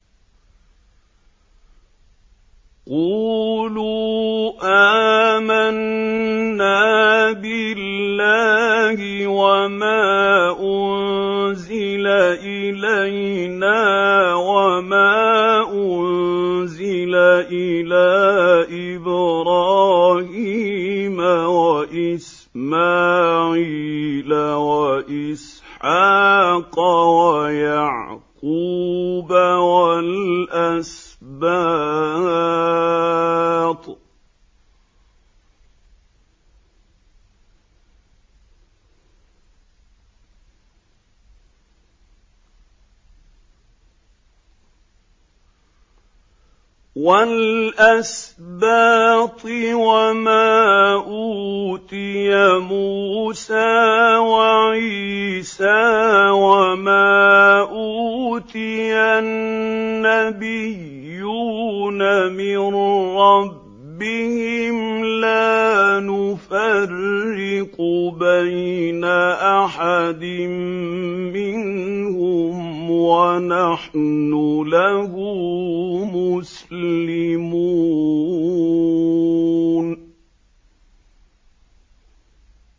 قُولُوا آمَنَّا بِاللَّهِ وَمَا أُنزِلَ إِلَيْنَا وَمَا أُنزِلَ إِلَىٰ إِبْرَاهِيمَ وَإِسْمَاعِيلَ وَإِسْحَاقَ وَيَعْقُوبَ وَالْأَسْبَاطِ وَمَا أُوتِيَ مُوسَىٰ وَعِيسَىٰ وَمَا أُوتِيَ النَّبِيُّونَ مِن رَّبِّهِمْ لَا نُفَرِّقُ بَيْنَ أَحَدٍ مِّنْهُمْ وَنَحْنُ لَهُ مُسْلِمُونَ